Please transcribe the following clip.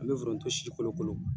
An bɛ foronto si kolo kolo.